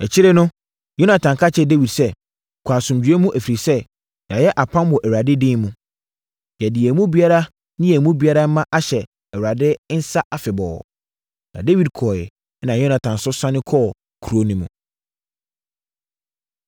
Akyire no, Yonatan ka kyerɛɛ Dawid sɛ, “Kɔ asomdwoeɛ mu, ɛfiri sɛ, yɛayɛ apam wɔ Awurade din mu. Yɛde yɛn mu biara ne yɛn mu biara mma ahyɛ Awurade nsa afebɔɔ.” Na Dawid kɔeɛ, ɛnna Yonatan nso sane kɔɔ kuro no mu.